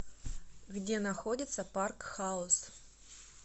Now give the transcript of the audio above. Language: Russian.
где находится парк хаус